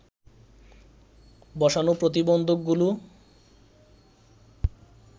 বসানো প্রতিবন্ধকগুলো